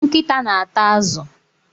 Nkịta na-ata azụ.